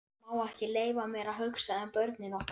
Ég má ekki leyfa mér að hugsa um börnin okkar.